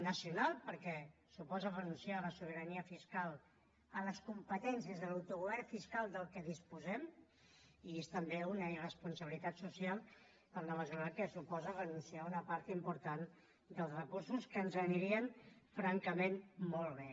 nacional perquè suposa renunciar a la sobirania fiscal a les competències a l’autogovern fiscal de què disposem i és també una irresponsabilitat social en la mesura que suposa renunciar a una part important dels recursos que ens anirien francament molt bé